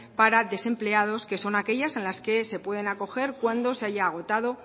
para desempleados que son aquellas que se pueden acoger cuando se haya agotado